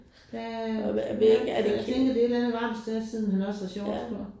Ja det er nok, jeg tænker det er et eller andet varmt sted siden han har shorts på